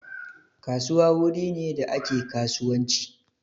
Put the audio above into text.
Kasuwa wuri ne da ake kasuwanci